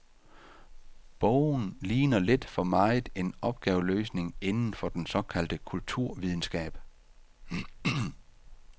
Bogen ligner lidt for meget en opgaveløsning inden for den såkaldte kulturvidenskab.